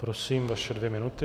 Prosím, vaše dvě minuty.